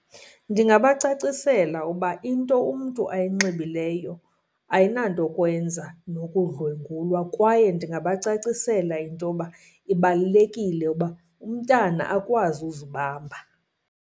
Ndingabacacisela uba into umntu ayinxibileyo ayinantokwenza nokudlwengulwa kwaye ndingabacacisela into yoba ibalulekile uba umntana akwazi uzibamba.